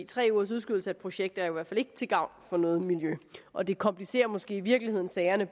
tre ugers udskydelse af et projekt er i hvert fald ikke til gavn for noget miljø og det komplicerer måske i virkeligheden sagerne